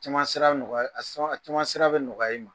Caman sira bɛ nɔgɔya a a caman sira bɛ nɔgɔya i ma.